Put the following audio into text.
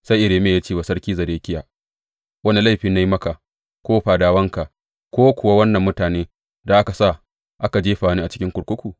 Sai Irmiya ya ce wa Sarki Zedekiya, Wane laifi na yi maka ko fadawanka ko kuwa wannan mutane, da ka sa aka jefa ni cikin kurkuku?